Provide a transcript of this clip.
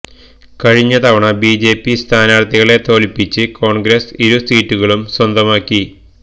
കഴിഞ്ഞ തവണ ബിജെപി സ്ഥാനാര്ത്ഥികളെ തോല്പ്പിച്ച് കോണ്ഗ്രസ് ഇരു സീറ്റുകളും സ്വന്തമാക്കി